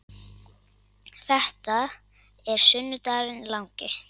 Þetta er sunnudagurinn langi.